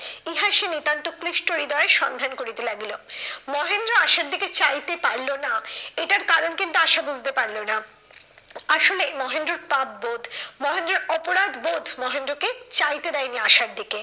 ইহা সে নিতান্ত ক্লিষ্ট হৃদয়ে সন্ধান করিতে লাগিল। মহেন্দ্র আশার দিকে চাইতে পারলো না এটার কারণ কিন্তু আশা বুঝতে পারলো না। আসলে মহেন্দ্রর পাপবোধ মহেন্দ্রর অপরাধবোধ মহেন্দ্রকে চাইতে দেয়নি আশার দিকে।